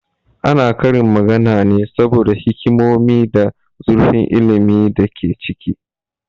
Ana karin magana ne saboda hikimonin da zurfin ilmin da ke ciki